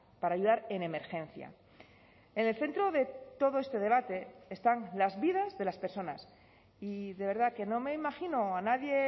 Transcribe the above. para ayudar en emergencia en el centro de todo este debate están las vidas de las personas y de verdad que no me imagino a nadie